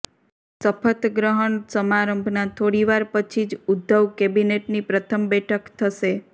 શપથ ગ્રહણ સમારંભના થોડીવાર પછી જ ઉદ્ધવ કેબિનેટની પ્રથમ બેઠક થશે